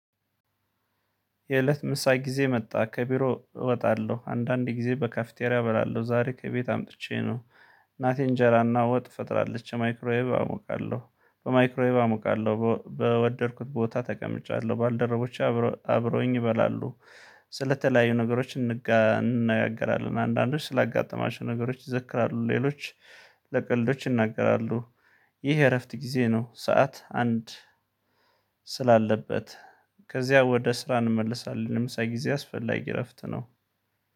የእለት ምሳየ ጊዜ መጣ ከቢሮ እወጣለሁ አንዳንድ ጊዜ በካፍቴሪያ እበላለሁ ዛሬ ከቤት አምጥቼ ነው ናቴን እንጀራና ወጥ። በማይክሮወይቭ አሞቃለሁ በወደድኩት ቦታ ተቀምጫለሁ ባልደረቦቼ አብረውኝ ይበላሉ። ስለተለያዩ ነገሮች እንነጋገራለን አንዳንዶች ስላጋጠማቸው ነገሮች ይዘክራሉ ሌሎች ለቀልዶች ይናገራሉ። ይህ እረፍት ጊዜ ነው። ሰዓት አንድ ስላለበት ከዚያ ወደ ስራ እንመልሳለን። የምሳ ጊዜ አስፈላጊ እረፍት ነው።